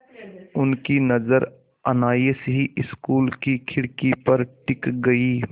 उनकी नज़र अनायास ही स्कूल की खिड़की पर टिक गई